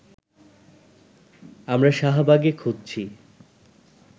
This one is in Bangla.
আমরা শাহবাগে খুঁজছি